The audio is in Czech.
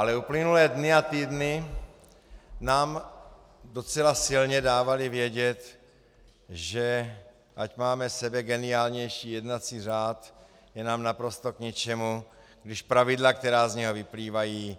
Ale uplynulé dny a týdny nám docela silně dávaly vědět, že ať máme sebegeniálnější jednací řád, je nám naprosto k ničemu, když pravidla, která z něho vyplývají,